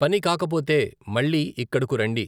పని కాకపోతే మళ్ళీ ఇక్కడకు రండి.